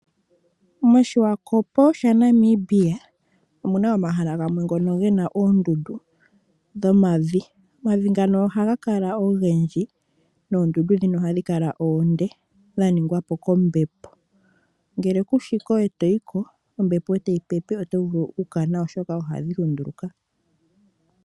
MoSwakopo shaNamibia omuna omahala gamwe ngono gena oondundu dhomavi. Omavi ngono oha ga kala ogendji nondundu dhino ohadhi kala onde, dha ningwapo kombepo nongele kushiko eto yi ko, ombepo eta yi pepe oto vulu oku kana oshoka ohadhi lunduluka.